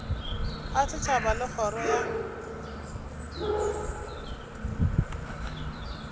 a setšhaba le kgoro ya